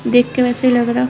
देख के वैसा ई लगरा है।